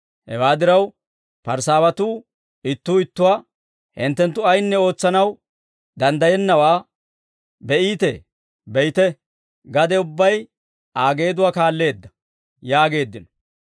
Hewaa diraw, Parisaawatuu ittuu ittuwaa, «Hinttenttu ayinne ootsanaw danddayennawaa be'iitee! Be'ite, gade ubbay Aa geeduwaa kaalleedda» yaageeddino.